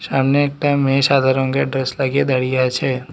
সামনে একটা মেয়ে সাদা রঙের ড্রেস লাগিয়ে দাঁড়িয়ে আছে।